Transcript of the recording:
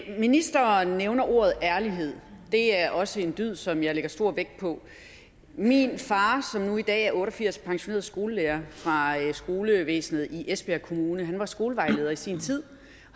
ministeren nævner ordet ærlighed det er også en dyd som jeg lægger stor vægt på min far som nu i dag er otte og firs pensioneret skolelærer fra skolevæsenet i esbjerg kommune var skolevejleder i sin tid